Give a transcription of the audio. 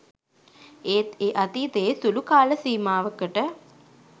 ඒත් ඒ අතීතයේ සුළු කාලසීමාවකට